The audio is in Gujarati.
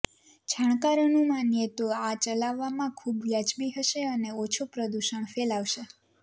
જાણકારોનું માનીએ તો આ ચલાવવામાં ખૂબ વ્યાજબી હશે અને ઓછું પ્રદૂષણ ફેલાવશે